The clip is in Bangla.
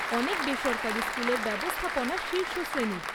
অনেক বেসরকারি স্কুলের ব্যবস্থাপনা শীর্ষ শ্রেণীর।